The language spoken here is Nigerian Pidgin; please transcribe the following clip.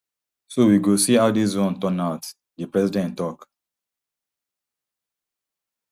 so we go see how dis one turn out di president tok